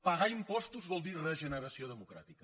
pagar impostos vol dir regeneració democràtica